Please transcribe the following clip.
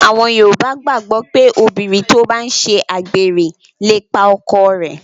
Àwọn yoòbá gbàgbọ̀ pé obìnrin tó bá n ṣe àgbèrè lè pa ọkọ rẹ̀